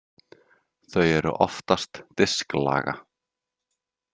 Þau eru oftast disklaga.